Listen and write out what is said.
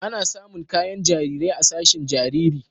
Ana samun kayan jarirai a sashin jariri.